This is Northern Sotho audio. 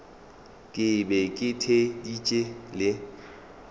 ke be ke theeditše le